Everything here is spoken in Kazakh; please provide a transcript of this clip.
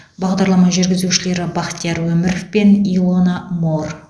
бағдарлама жүргізушілері бахтияр өміров пен илона моор